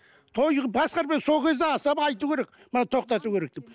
той сол кезде асаба айту керек мынаны тоқтату керек деп